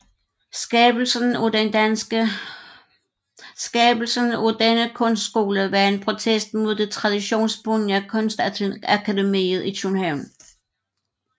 Skabelsen af denne kunstskole var en protest mod det traditionsbundne Kunstakademiet i København